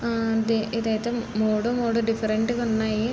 ఆ ఆ ఇదిఅయితే మూడు మూడు డిఫరెంట్ గా ఉన్నాయి.